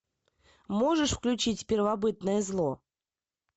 можешь включить первобытное зло